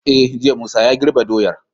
E jiya Musa ya girbe doyar